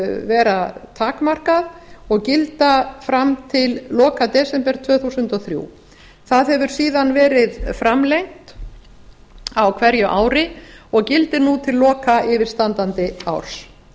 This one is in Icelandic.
vera takmarkað og gilda fram til loka desember tvö þúsund og þrjú það hefur síðan verið framlengt á hverju ári og gildir nú til loka yfirstandandi árs